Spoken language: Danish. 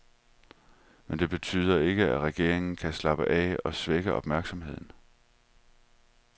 Men det betyder ikke, at regeringen kan slappe af og svække opmærksomheden.